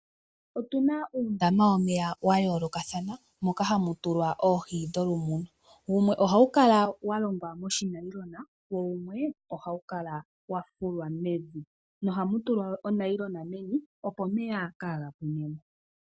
Otu na uundama wo meya wa yoolokathana moka ha mu tulwa oohi dholumuno. Wumwe oha wu kala wa longwa monayilona, na wumwe oha wu kala wa fulwa mevi ha mu tulwa oshifwagalala opo omeya kaaga pwinemo.